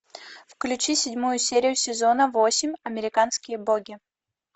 включи седьмую серию сезона восемь американские боги